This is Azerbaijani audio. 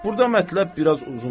Burda mətləb biraz uzundur.